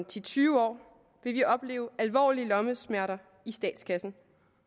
til tyve år opleve alvorlige lommesmerter i statskassen